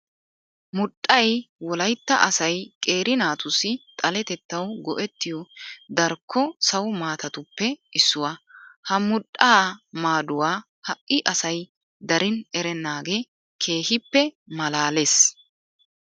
Mudhdhay wolaytta asay qeera naatussi xaletettawu go"ettiyo darkko sawo maatatuppe issuwa. Ha mudhdhaa maaduwa ha"i asay darin erennaagee keehippe maalaalees.